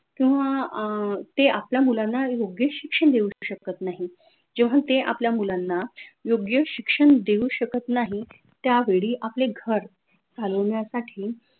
किंव्हा अं ते आपल्या मुलांना योग्य शिक्षन देऊ शकत नाहीत जेव्हा, ते आपल्या मुलांना योग्य शिक्षन देऊ शकत नाही त्या वेडी आपले घर चालवन्यासाठी